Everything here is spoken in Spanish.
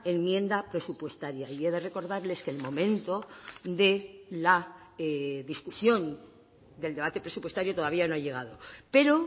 enmienda presupuestaria y he de recordarles que el momento de la discusión del debate presupuestario todavía no ha llegado pero